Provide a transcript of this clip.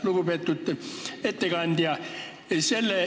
Lugupeetud ettekandja!